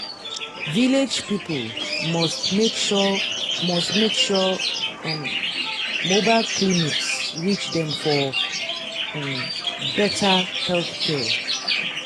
village people must make sure must make sure um mobile clinics reach dem for um better healthcare.